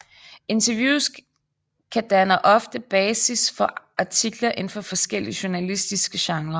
Interviews kan danner ofte basis for artikler inden for forskellige journalistiske genrer